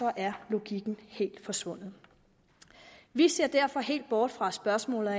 er logikken helt forsvundet vi ser derfor helt bort fra spørgsmålet